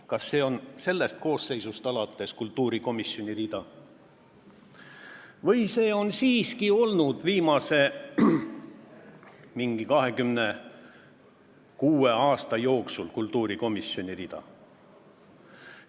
– kas see on sellest koosseisust alates kultuurikomisjoni rida või on see siiski olnud umbes viimase 26 aasta jooksul kultuurikomisjoni rida?